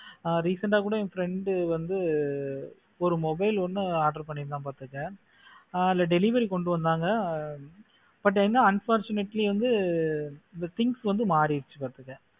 ஆஹ் recent ஆ கூட என் friend வந்து ஒரு mobile ஒன்னு order பண்ணி இருந்தா பாத்துக்கோ ஆஹ் அதுல delivery கொண்டு வந்தாங்க but என்ன unfortunately வந்து things வந்து மாறிடுச்சு பாத்துக்க.